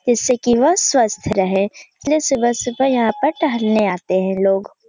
इससे केवल स्वस्थ रहें इसलिए सुबह सुबह यहां पर टहलने आते हैं लोग |